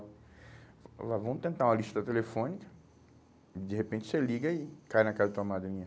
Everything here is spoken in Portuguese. Ela falou, vamos tentar uma lista telefônica, de repente você liga e cai na casa da sua madrinha.